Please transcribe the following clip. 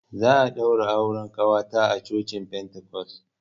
Za a ɗaura auren ƙawata a cocin pentacos.